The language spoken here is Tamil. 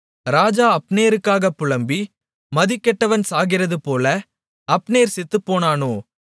ராஜா அப்னேருக்காகப் புலம்பி மதிகெட்டவன் சாகிறதுபோல அப்னேர் செத்துப்போனானோ